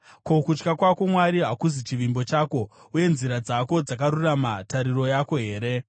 Ko, kutya kwako Mwari hakuzi chivimbo chako, uye nzira dzako dzakarurama tariro yako here?